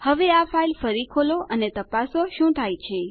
હવે આ ફાઇલ ફરી ખોલો અને તપાસો શું થાય છે